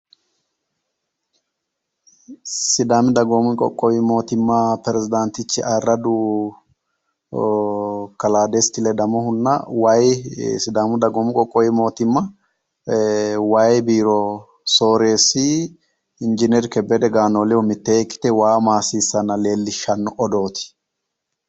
Sidaami dagoomi mootiimma peresidaantichi ayiirradu kalaa Desti Ledamohunna waayi sidaamu dagoomu qoqqowi mootiimma waayi biiro soreessi injiineeri Kebbede Ganoolehu ledo mittee ikkite waa maassiissanna leellishshanno odooti.